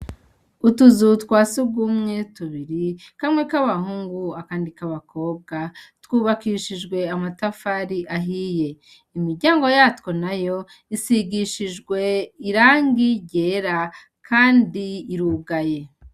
Utuzu twa sugumwe tubiri kamwe kabahungu akandi kabakobwa, twubakishijwe amatafari ahiye. Imiryango yatwo nayo isigishije irangi ryera kandi irugaye.